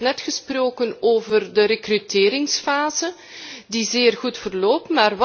U heeft net gesproken over de rekruteringsfase, die zeer goed verloopt.